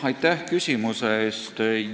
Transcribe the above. Aitäh küsimuse eest!